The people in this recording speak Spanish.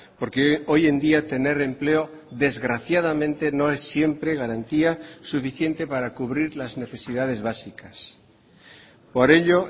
porque hoy en día tener empleo desgraciadamente no es siempre garantía suficiente para cubrir las necesidades básicas por ello